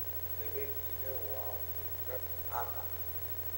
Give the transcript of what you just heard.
Kabejiga waa khudrad caan ah.